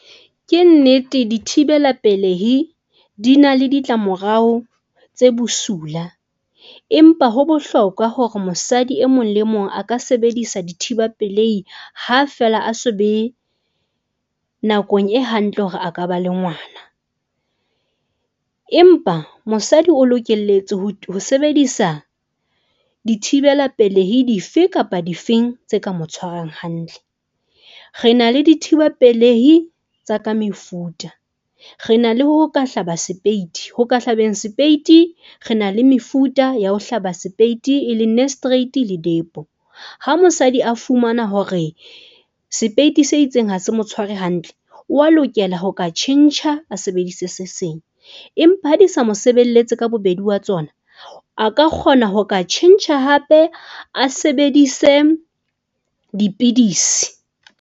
Ke nnete dithibela pelehi di na le ditlamorao tse bosula, empa ho bohlokwa hore mosadi e mong le mong aka sebedisa dithiba pelehi ha feela a so be, nakong e hantle hore a ka ba le ngwana. Empa mosadi o lokelletse ho ho sebedisa dithibela pelehi dife kapa difeng tse ka mo tshwarang hantle. Re na le dithiba pelehi tsa ka mefuta. Re na le ho ka hlaba sepeiti ho ka hlabeng sepeiti re na le mefuta ya ho hlaba sepeiti e leng nuristerate le depo. Ha mosadi a fumana hore sepeiti se itseng ha se mo tshware hantle, o a lokela ho ka tjhentjha a sebedise se seng empa ha di sa mo sebeletse ka bobedi wa tsona. A ka kgona ho ka tjhentjha hape, a sebedise dipidisi.